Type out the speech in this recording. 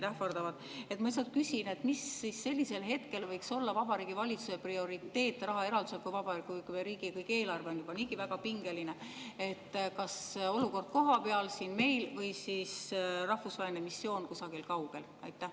Ma lihtsalt küsin, mis võiks sellisel hetkel olla Vabariigi Valitsuse prioriteet raha eraldamisel, kui riigieelarve on juba niigi väga pingeline: kas olukord kohapeal, siin meil, või siis rahvusvaheline missioon kusagil kaugel?